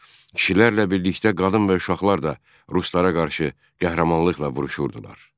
Kişilərlə birlikdə qadın və uşaqlar da ruslara qarşı qəhrəmanlıqla vuruşurdular.